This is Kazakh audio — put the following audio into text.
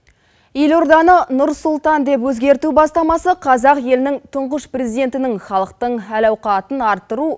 елорданы нұр сұлтан деп өзгерту бастамасы қазақ елінің тұңғыш президентінің халықтың әл ауқатын арттыру